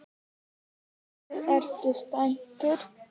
Ertu, ertu spenntur?